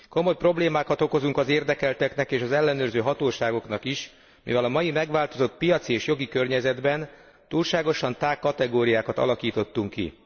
Komoly problémákat okozunk az érdekelteknek és az ellenőrző hatóságoknak is, mivel a mai megváltozott piaci és jogi környezetben túlságosan tág kategóriákat alakítottunk ki.